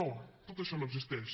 no tot això no existeix